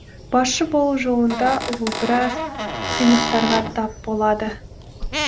басшы болу жолында ол біраз қиындықтарға тап болады